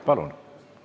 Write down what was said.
Palun!